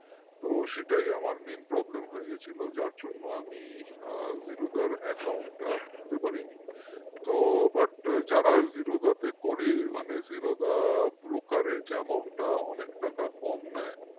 তো সেটাই আমার main problem হয়ে গেছিল যার জন্য আমি zero দার account টা খুলতে পারিনি তো but যারা zero দাতে করে মানে zerodhabrockage amount টা অনেকটা অনেক টাকা কম নেয়